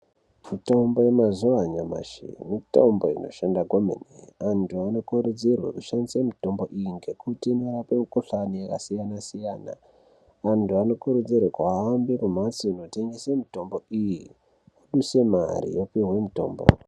Mitombo yemazuva anyamashi mitombo inoshanda kwemene antu anokurudzirwa kushandisa mitombo iyi ngekuti inorapa mikuhlani yakasiyana-siyana antu anokurudzirwa kuhambe kumbatso inotengesa mitombo iyi oduse mare opiwa mitombo.